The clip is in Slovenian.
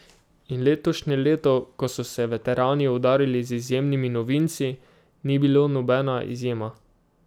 In letošnje leto, ko so se veterani udarili z izjemnimi novinci, ni bilo nobena izjema.